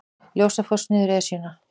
Ljósafoss niður Esjuna